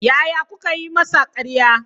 Yaya kuka yi masa karya?